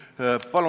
Tänan!